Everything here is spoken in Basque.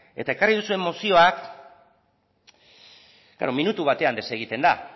eta ekarri duzuen mozioa minutu batean desegiten da